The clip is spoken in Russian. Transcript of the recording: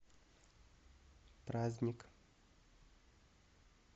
праздник